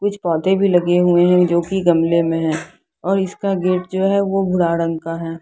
कुछ पौधे भी लगे हुए है जो की गमले मे है और इसका गेट जो है भूरा रंग का है।